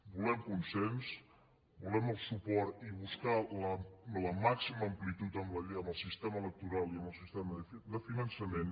volem consens volem el suport i buscar la màxima amplitud en el sistema electoral i en el sistema de finançament